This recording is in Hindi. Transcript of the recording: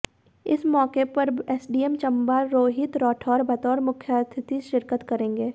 इस मौके पर एसडीएम चंबा रोहित राठौर बतौर मुख्यातिथि शिरकत करेंगे